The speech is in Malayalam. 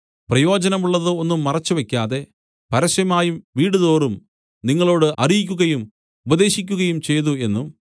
പ്രായോജനമുള്ളത് ഒന്നും മറച്ചുവെക്കാതെ പരസ്യമായും വീടുതോറും നിങ്ങളോടു അറിയിക്കുകയും ഉപദേശിക്കുകയും ചെയ്തു എന്നും